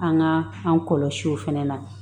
An ka an kɔlɔsi o fɛnɛ na